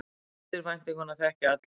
Eftirvæntinguna þekkja allir.